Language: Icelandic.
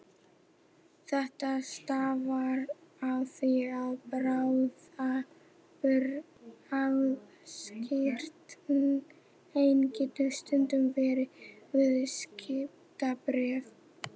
Þetta stafar af því að bráðabirgðaskírteini getur stundum verið viðskiptabréf.